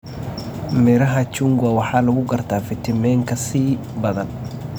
Midhaha chungwa waxaa lagu gartaa fiitamiinka C badan.